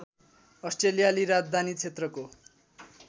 अस्ट्रेलियाली राजधानी क्षेत्रको